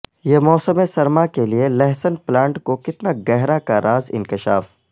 یہ موسم سرما کے لئے لہسن پلانٹ کو کتنا گہرا کا راز انکشاف